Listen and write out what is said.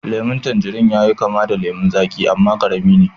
lemun tanjirin yayi kama da lemun zaƙi amma karami ne